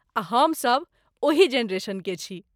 आ हम सभ ओहि जेनेरेशन के छी।